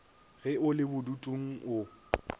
ge o le bodutung o